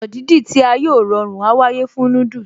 Ọ̀nà dídì tí a yóò rọrùn á wáyé fún noodles